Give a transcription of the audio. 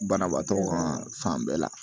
Banabaatɔ ka fan bɛɛ la